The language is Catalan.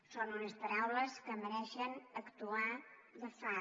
són unes paraules que mereixen actuar de far